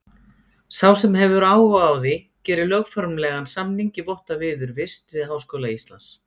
Sá sem hefur áhuga á því gerir lögformlegan samning í votta viðurvist við Háskóla Íslands.